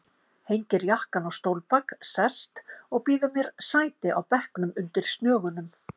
Hengir jakkann á stólbak, sest og býður mér sæti á bekknum undir snögunum.